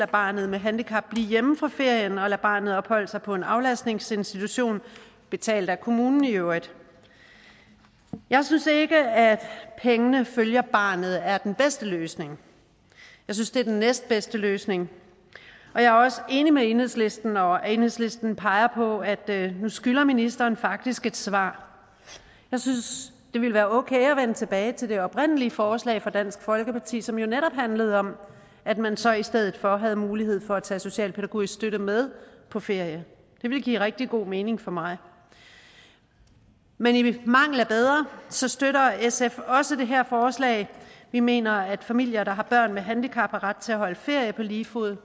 barnet med handicap blive hjemme fra ferien og lade barnet opholde sig på en aflastningsinstitution betalt af kommunen i øvrigt jeg synes ikke at pengene følger barnet er den bedste løsning jeg synes det er det næstbedste løsning og jeg er også enig med enhedslisten når enhedslisten peger på at nu skylder ministeren faktisk et svar jeg synes det ville være okay at vende tilbage til det oprindelige forslag fra dansk folkeparti som jo netop handlede om at man så i stedet for havde mulighed for at tage socialpædagogisk støtte med på ferie det ville give rigtig god mening for mig men i mangel af bedre støtter sf også det her forslag vi mener at familier der har børn med handicap har ret til at holde ferie på lige fod